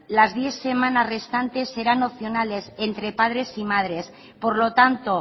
las diez semanas restantes serán opcionales entre padres y madres por lo tanto